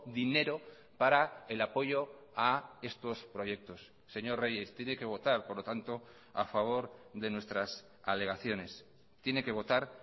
dinero para el apoyo a estos proyectos señor reyes tiene que votar por lo tanto a favor de nuestras alegaciones tiene que votar